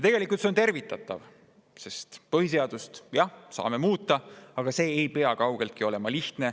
Tegelikult on see tervitatav, sest jah, me saame põhiseadust muuta, aga see ei pea kaugeltki olema lihtne.